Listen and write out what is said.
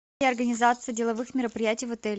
организация деловых мероприятий в отеле